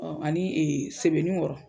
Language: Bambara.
Ani sebenin kɔrɔ